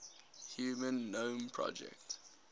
human genome project